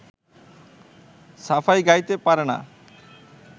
সাফাই গাইতে পারে না